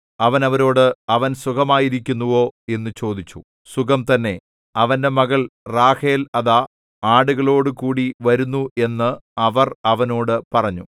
അവൻ അവരോട് അവൻ സുഖമായിരിക്കുന്നുവോ എന്നു ചോദിച്ചു സുഖം തന്നെ അവന്റെ മകൾ റാഹേൽ അതാ ആടുകളോടുകൂടി വരുന്നു എന്ന് അവർ അവനോട് പറഞ്ഞു